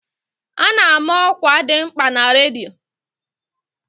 A ná-ama ọkwa dị mkpa na redio.